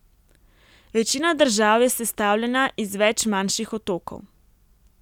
Večina držav je sestavljena iz več manjših otokov.